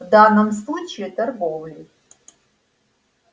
в данном случае торговлей